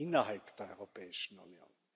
innerhalb der Europäischen Union.